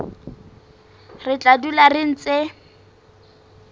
re tla dula re ntse